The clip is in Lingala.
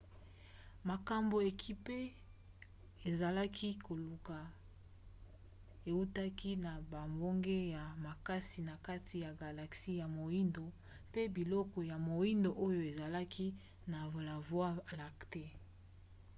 makambo ekipe ezalaki koluka eutaki na bambonge ya makasi na kati ya galaxie ya moindo pe biloko ya moindo oyo ezalaki na la voie lactée